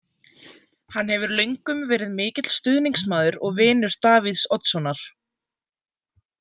Hann hefur löngum verið mikill stuðningsmaður og vinur Davíðs Oddssonar.